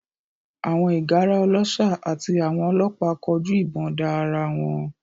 Àwọn ìgárá ọlọ́ṣà àti àwọn ọlọ́pàá kọjú ìbọn da ara wọn